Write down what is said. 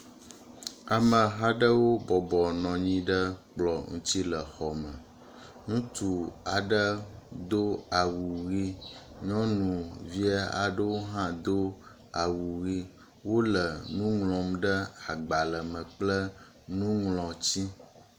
Amehaɖewo bɔbɔ nɔnyi ɖe kplɔ ŋutsi le xɔme , ŋutsu aɖe dó awu ɣi , nyɔnuvi aɖewohã do awu ɣi wóle ŋuŋlɔm ɖe agbale me kple nuŋlɔtsi